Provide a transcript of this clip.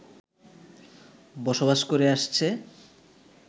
বসবাস করে আসছে